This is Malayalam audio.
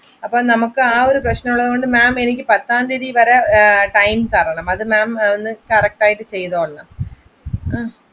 അപ്പൊ നമ്മക്ക് ആ ഒരു പ്രശ്നമുള്ളത് കൊണ്ട് ma'am പത്താം തിയതി വരെ time തരണം അത് ma'am correct ആയിട്ട് ചെയ്ത് തരണം